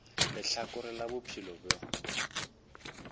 le lehlakore la bophelo bjo